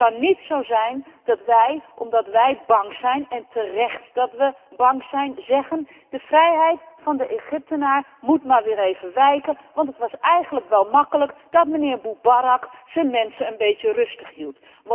Het kan niet zo zijn dat wij, omdat wij bang zijn en wij zijn terecht bang zeggen De vrijheid van de Egyptenaar moet maar weer even wijken, want het was eigenlijk wel gemakkelijk dat mijnheer Mubarak zijn mensen een beetje rustig hield.